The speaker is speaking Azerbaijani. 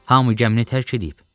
Hamı gəmini tərk eləyib.